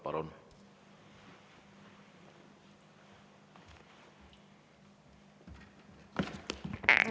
Palun!